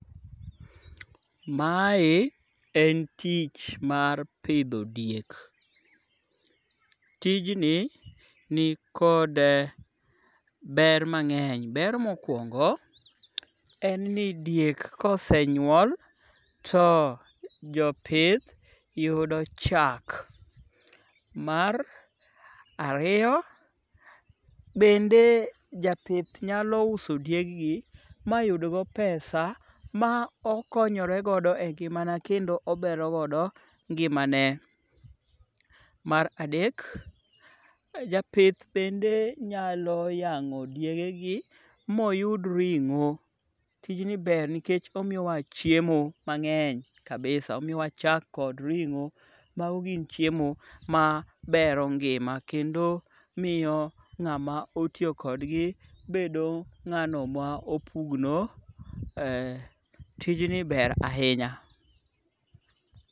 Mae en tich mar pidho diek. Tijni nikod ber mang'eny. Ber mokwongo en ni diek kosenyuol to jopith yudo chak. Mar ariyo, bende japith nyalo uso dieggi mayudgo pesa ma okonyoregodo e ngimama kendo oberogodo ngimane. Mar adek, japith bende nyalo yang'o diegegi moyud ring'o, tijni ber nikech omiyowa chiemo mang'eny kabisa. omiyowa chak kod ring'o. Mago gin chiemo mabero ngima kendo miyo ng'ama otiyo kodgi bedo ng'ano ma opugno. Tijni ber ahinya.